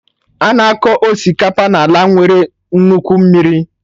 Ana akọ Osikapa n'ala nwere nnukwu mmiri